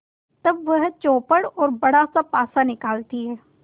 तब वह चौपड़ और बड़ासा पासा निकालती है